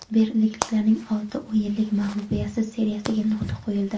Berlinliklarning olti o‘yinlik mag‘lubiyatsiz seriyasiga nuqta qo‘yildi.